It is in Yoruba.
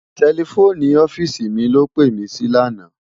Tèlèfóni òfìsí mi ló pé mi si làná